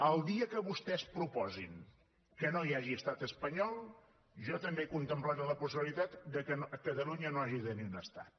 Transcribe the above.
el dia que vostès proposin que no hi hagi estat espanyol jo també contemplaré la possibilitat que catalunya no hagi de tenir un estat